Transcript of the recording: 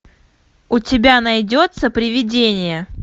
у тебя найдется привидение